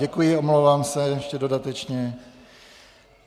Děkuji, omlouvám se ještě dodatečně.